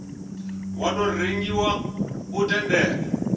wa tou rengiwa u tendela